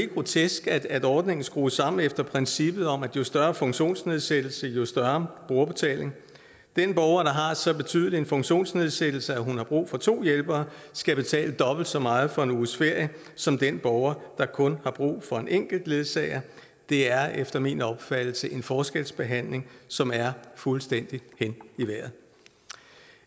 grotesk at ordningen er skruet sammen efter princippet om at jo større funktionsnedsættelse jo større brugerbetaling den borger der har så betydelig en funktionsnedsættelse at hun har brug for to hjælpere skal betale dobbelt så meget for en uges ferie som den borger der kun har brug for en enkelt ledsager det er efter min opfattelse en forskelsbehandling som er fuldstændig hen i vejret